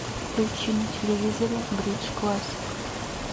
включи на телевизоре бридж классик